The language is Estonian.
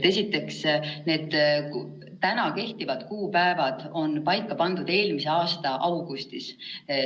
Esiteks, need täna kehtivad kuupäevad on paika pandud eelmise aasta augustis.